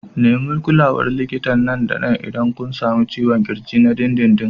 Nemi kulawar likita nan da nan idan kun sami ciwon ƙirji na dindindin.